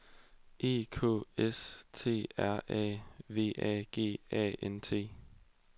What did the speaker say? E K S T R A V A G A N T